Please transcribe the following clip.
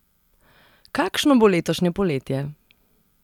Kakšno bo letošnje poletje?